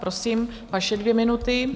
Prosím, vaše dvě minuty.